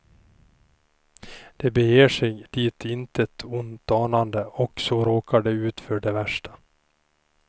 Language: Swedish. De beger sig dit intet ont anande, och så råkar de ut för det värsta.